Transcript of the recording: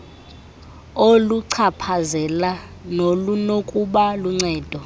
oluchaphazela nolunokuba luncedo